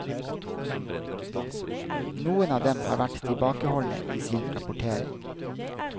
Noen av dem har vært tilbakeholdne i sin rapportering.